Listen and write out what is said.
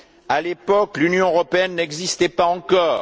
À l'époque, l'Union européenne n'existait pas encore.